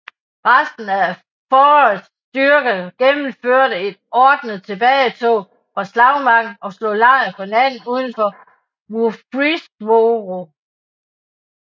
Resten af Forrests styrke gennemførte et ordnet tilbagetog fra slagmarken og slog lejr for natten udenfor Murfreesboro